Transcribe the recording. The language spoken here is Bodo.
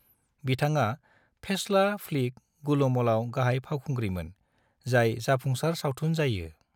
बिथाङा फेस्ला फ्लिक गुलुमलआव गाहाय फावखुंग्रिमोन, जाय जाफुंसार सावथुन जायो।